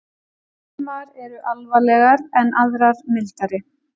Sumar eru alvarlegar en aðrar mildari.